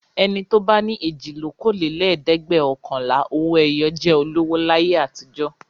Ẹni tó bá ní èjìlókòólẹ́ẹ̀dẹ́gbẹ́ọ̀kànlá Owó-ẹyọ jẹ́ olówó láyé àtijọ́.